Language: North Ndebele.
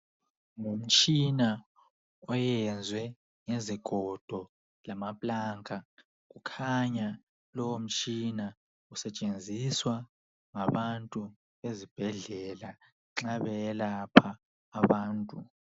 Ngumtshina oyenzwe ngezigodo lama pulanka kukhanya lowo mtshina usetshenziswa ngabantu ezibhedlela nxa beyelapha abantu.